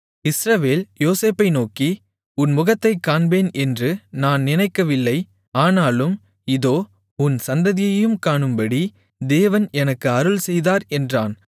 இஸ்ரவேல் யோசேப்பை நோக்கி உன் முகத்தைக் காண்பேன் என்று நான் நினைக்கவில்லை ஆனாலும் இதோ உன் சந்ததியையும் காணும்படி தேவன் எனக்கு அருள்செய்தார் என்றான்